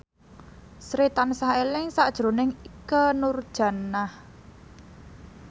Sri tansah eling sakjroning Ikke Nurjanah